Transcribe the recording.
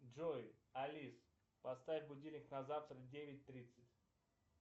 джой алис поставь будильник на завтра девять тридцать